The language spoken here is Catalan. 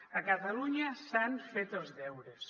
a catalunya s’han fet els deures